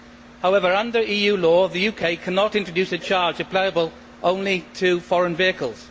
However, under EU law, the UK cannot introduce a charge applicable only to foreign vehicles.